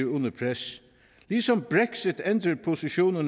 under pres ligesom brexit ændrer positioner